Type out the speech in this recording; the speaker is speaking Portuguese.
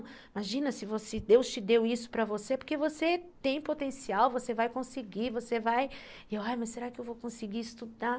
Imagina se Deus te deu isso para você, porque você tem potencial, você vai conseguir, você vai... E eu, ai, mas será que eu vou conseguir estudar?